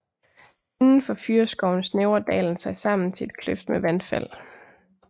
Indenfor fyrreskoven snævrer dalen sig sammen til et kløft med vandfald